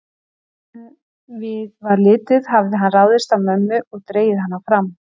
Áður en við var litið hafði hann ráðist á mömmu og dregið hana fram.